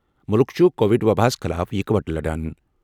مُلُک چُھ کووِڈ وَباہِ خٕلاف اِکہٕ وٹہٕ لَڑان۔